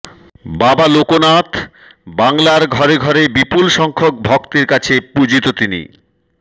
বাবা লোকনাথ বাংলার ঘরে ঘরে বিপুল সংখ্যক ভক্তের কাছে পূজিত তিনি